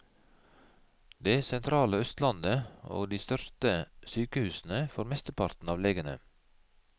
Det sentrale østlandet og de største sykehusene får mesteparten av legene.